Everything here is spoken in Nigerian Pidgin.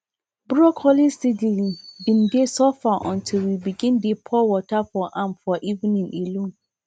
broccoli seedlings been dey suffer until we begin dey pour water for am for evening alone